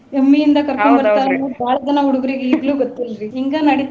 ಭಾಳ ಜನ ಹುಡ್ಗುರಿಗೆ ಇಗ್ಲೂ ಗೊತ್ತಿಲ್ರಿ ಹಿಂಗ ನಡೀತಾ.